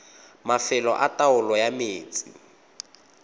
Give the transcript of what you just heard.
mafelo a taolo ya metsi